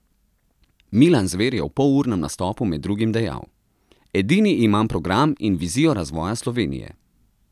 Milan Zver je v polurnem nastopu med drugim dejal: 'Edini imam program in vizijo razvoja Slovenije.